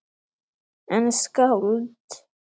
En skáld?